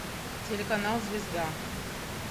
телеканал звезда